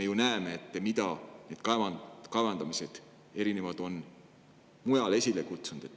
Me ju näeme, mida erinevad kaevandamised on mujal esile kutsunud.